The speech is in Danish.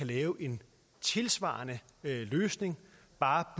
lave en tilsvarende løsning bare